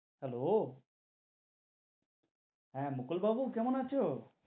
Hello হেঁ, মুকুল বাবু কেমন আছো?